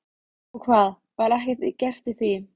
Og hvað, var ekkert gert í því?